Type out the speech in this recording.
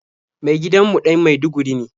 Mai gadin mu ɗan maiduguri ne.